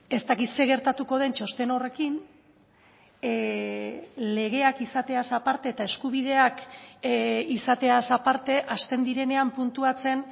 ez dakit zer gertatuko den txosten horrekin legeak izateaz aparte eta eskubideak izateaz aparte hasten direnean puntuatzen